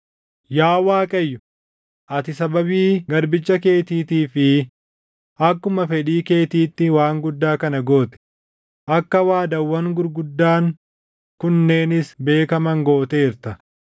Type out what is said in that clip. Yaa Waaqayyo, ati sababii garbicha keetiitii fi akkuma fedhii keetiitti waan guddaa kana goote; akka waadaawwan gurguddaan kunneenis beekaman gooteerta.